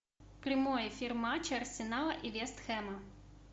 прямой эфир матча арсенала и вест хэма